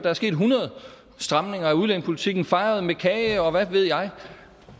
er sket hundrede stramninger af udlændingepolitikken fejret med kage og hvad ved jeg